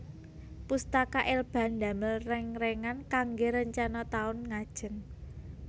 Pustaka Elba ndamel reng rengan kangge rencana taun ngajeng